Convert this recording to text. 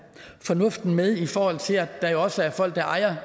fornuften med i forhold til at der også er folk der ejer